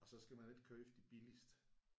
Og så skal man ikke købe de billigste